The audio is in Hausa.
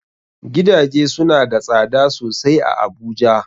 Gidaje suna da tsada sosai a Abuja.